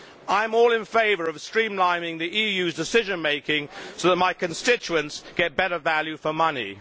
I am all in favour of streamlining the EU's decision making so that my constituents get better value for money.